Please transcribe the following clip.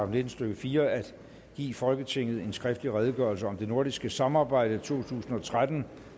nitten stykke fire at give folketinget en skriftlig redegørelse om det nordiske samarbejde to tusind og tretten